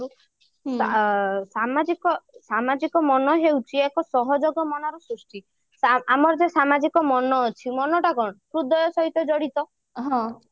ଆଁ ସାମାଜିକ ସାମାଜିକ ମନ ହଉଛି ଏକ ସହଯୋଗ ମନର ସୃଷ୍ଟି ଆମର ଯୋଉ ସାମାଜିକ ମନ ଅଛି ମନଟା କଣ ହୃଦୟ ସହିତ ଜଡିତ